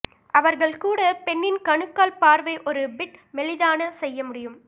அவர்கள் கூட பெண்ணின் கணுக்கால் பார்வை ஒரு பிட் மெலிதான செய்ய முடியும்